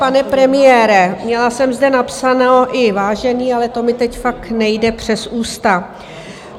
Pane premiére, měla jsem zde napsáno i vážený, ale to mi teď fakt nejde přes ústa.